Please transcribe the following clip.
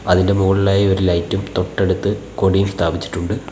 അതിൻ്റെ മുകളിലായി ഒരു ലൈറ്റും തൊട്ടടുത്ത് കൊടിയും സ്ഥാപിച്ചിട്ടുണ്ട്.